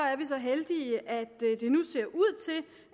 er vi så heldige at det nu ser ud til